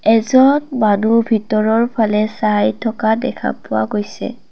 এজন মানুহ ভিতৰৰ ফালে চাই থকা দেখা পোৱা গৈছে।